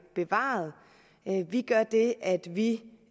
bevaret vi gør det at vi